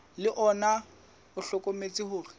le ona o hlokometse hore